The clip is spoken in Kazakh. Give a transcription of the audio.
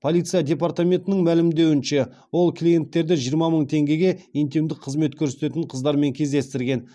полиция департаментінің мәлімдеуінше ол клиенттерді жиырма мың теңгеге интимдік қызмет көрсететін қыздармен кездестірген